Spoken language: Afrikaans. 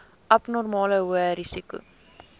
abnormale hoë risiko